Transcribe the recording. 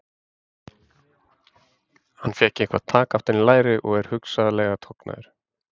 Hann fékk eitthvað tak aftan í læri og er hugsanlega tognaður.